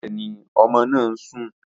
Bẹ́ẹ̀ni, ọmọ náà ń sùn